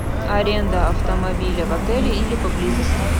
аренда автомобиля в отеле или поблизости